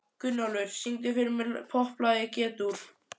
Gunnólfur, syngdu fyrir mig „Popplag í G-dúr“.